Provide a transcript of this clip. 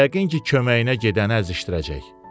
Yəqin ki, köməyinə gedəni əzişdirəcək.